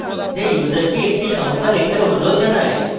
যা ইউসারকে একটি সংখ্যা লেখার অনুরোধ জানায়